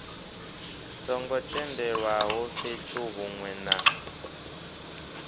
songo tendelwaho fhethu hunwe na